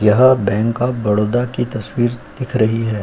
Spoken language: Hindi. यह बैंक ऑफ बड़ौदा की तस्वीर दिख रही है।